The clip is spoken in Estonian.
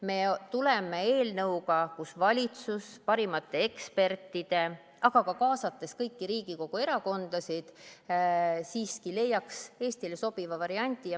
Me tuleme eelnõuga, et valitsus koos parimate ekspertidega, aga ka kõiki Riigikogu erakondasid kaasates leiaks Eestile sobiva variandi.